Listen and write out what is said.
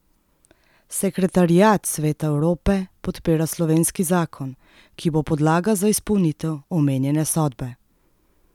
Sekretariat Sveta Evrope podpira slovenski zakon, ki bo podlaga za izpolnitev omenjene sodbe.